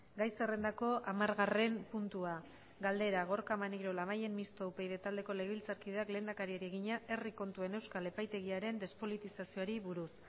gai zerrendako hamargarren puntua galdera gorka maneiro labayen mistoa upyd taldeko legebiltzarkideak lehendakariari egina herri kontuen euskal epaitegiaren despolitizazioari buruz